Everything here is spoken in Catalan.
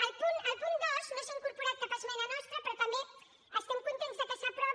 al punt dos no s’ha incorporat cap esmena nostra però també estem contents que s’aprovi